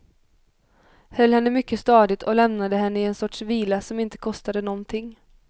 Höll henne mycket stadigt och lämnade henne i en sorts vila som inte kostade någonting.